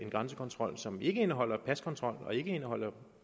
grænsekontrol som ikke indeholder paskontrol og som ikke indeholder